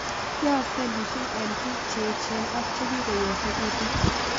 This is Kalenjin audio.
Yaakse mising' eng' piik che echen ak chekikyosekitu